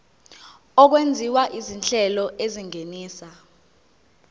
okwenziwa izinhlelo ezingenisa